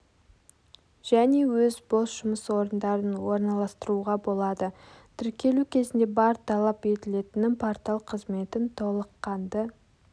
және өз бос жұмыс орындарын орналастыруға болады тіркелу кезінде бар талап етілетіні портал қызметін толыққанды